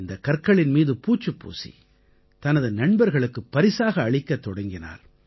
இந்தக் கற்களின் மீது பூச்சுப் பூசி தனது நண்பர்களுக்குப் பரிசாக அளிக்கத் தொடங்கினார்